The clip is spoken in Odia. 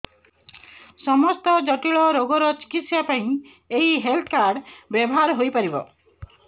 ସମସ୍ତ ଜଟିଳ ରୋଗର ଚିକିତ୍ସା ପାଇଁ ଏହି ହେଲ୍ଥ କାର୍ଡ ବ୍ୟବହାର ହୋଇପାରିବ